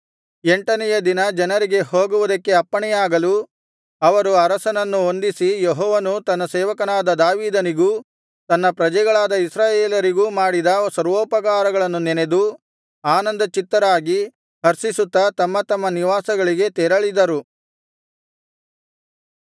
ಎಂಟನೆಯ ದಿನ ಜನರಿಗೆ ಹೋಗುವುದಕ್ಕೆ ಅಪ್ಪಣೆಯಾಗಲು ಅವರು ಅರಸನನ್ನು ವಂದಿಸಿ ಯೆಹೋವನು ತನ್ನ ಸೇವಕನಾದ ದಾವೀದನಿಗೂ ತನ್ನ ಪ್ರಜೆಗಳಾದ ಇಸ್ರಾಯೇಲರಿಗೂ ಮಾಡಿದ ಸರ್ವೋಪಕಾರಗಳನ್ನು ನೆನದು ಆನಂದಚಿತ್ತರಾಗಿ ಹರ್ಷಿಸುತ್ತಾ ತಮ್ಮ ತಮ್ಮ ನಿವಾಸಗಳಿಗೆ ತೆರಳಿದರು